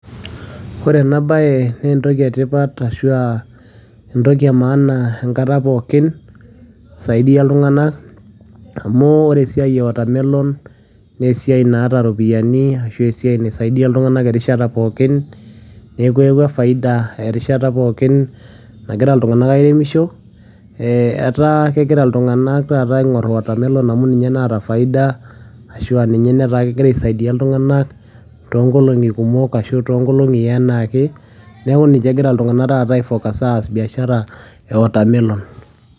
Ore enabae nentoki etipat ashua entoki emaana enkata pookin, isaidia iltung'anak amu ore esiai e watermelon nesiai naata ropiyiani, ashua esiai naisaidia iltung'anak erishata pookin, neeku eewua faida erishata pookin nagira iltung'anak airemisho, etaa kegira iltung'anak taata aing'oru watermelon amu ninye naata faida, ashua ninye netaa kegira aisaidia iltung'anak tonkolong'i kumok ashu tonkolong'i enaake, neeku ninye egira iltung'anak taata ai focus aas biashara e watermelon.